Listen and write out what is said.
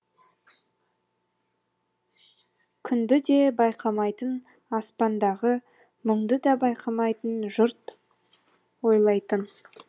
күнді де байқамайтын аспандағы мұңды да байқамайтын жұрт ойлайтын